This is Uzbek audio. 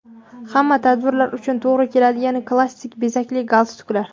Hamma tadbirlar uchun to‘g‘ri keladigan klassik bezakli galstuklar.